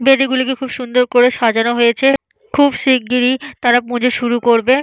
বেদীগুলোকে খুব সুন্দর করে সাজানো হয়েছে। খুব শিগগিরই তারা পুজো শুরু করবে।